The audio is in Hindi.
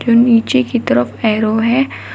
नीचे की तरफ एरो है।